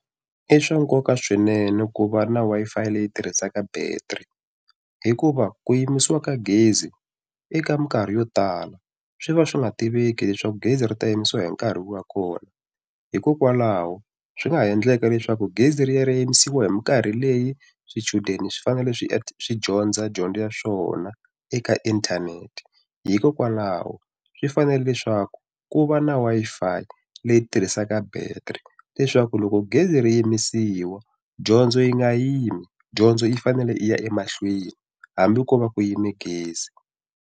I swa nkoka swinene ku va na Wi-Fi leyi tirhisaka battery hikuva ku yimIsiwa ka gezi eka mikarhi yo tala swi va swi nga tiveki leswaku gezi ri ta yimisi hi nkarhi wini wa kona hikokwalaho swi nga ha endleka leswaku gezi ri ya ri yimisiwa hi mikarhi leyi swichudeni swi swi dyondza dyondzo ya swona eka inthanete hikokwalaho swi fanele leswaku ku va na Wi-Fi leyi tirhisaka battery leswaku loko gezi ri yimisiwa dyondzo yi nga yimi dyondzo yi fanele yi ya emahlweni hambi ko va ku yime gezi.